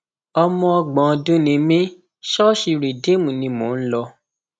ọmọ ọgbọn ọdún ni mí ṣọọṣì rìdíìmù ni mò ń lọ